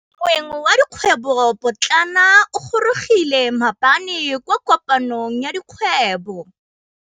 Moêng wa dikgwêbô pôtlana o gorogile maabane kwa kopanong ya dikgwêbô.